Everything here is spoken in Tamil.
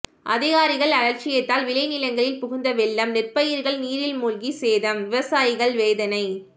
அதிகாரிகள் அலட்சியத்தால் விளைநிலங்களில் புகுந்த வெள்ளம் நெற்பயிர்கள் நீரில் மூழ்கி சேதம் விவசாயிகள் வேதனை